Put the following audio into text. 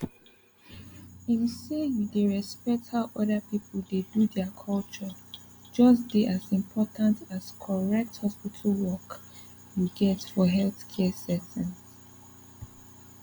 ehm say you dey respect how other people dey do their culture just dey as important as correct hospital work you get for healthcare settings